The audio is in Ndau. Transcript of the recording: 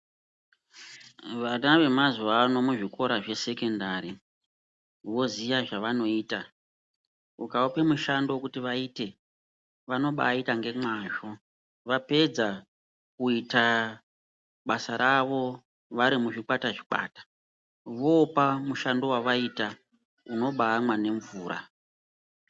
Vana vemazuvano muzvikora zvesekendari vozia zvavanoita aupi mushando kuti vaite vanobaita ngemwazvo vapedza kuita basa ravo varimuzvikwata muzvikwata vooa mushando wavaita unobamwa nemvura.